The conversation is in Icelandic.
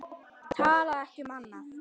Talar ekki um annað.